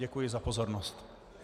Děkuji za pozornost.